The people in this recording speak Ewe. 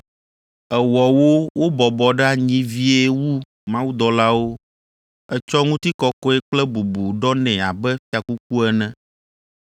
Èwɔ wo wobɔbɔ ɖe anyi vie wu mawudɔlawo, ètsɔ ŋutikɔkɔe kple bubu ɖɔ nɛ abe fiakuku ene,